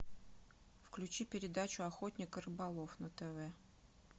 включи передачу охотник и рыболов на тв